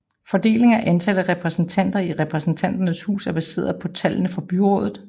Fordelingen og antallet af repræsentanter i Repræsentanternes hus er baseret på tallene fra byrådet